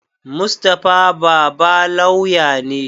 Mustapha baba lauya ne